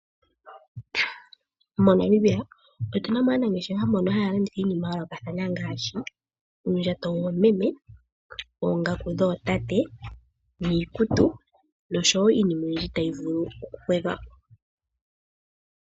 MoNamibia otuna mo aanangeshefa mboka haya landitha iinima yayoolokathana ngaashi oondjato dhoomeme, oongaku dhootate niikutu nosho woo iinima oyindji tayi vulu okugwedhwapo.